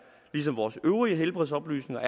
ligesom vores øvrige helbredsoplysninger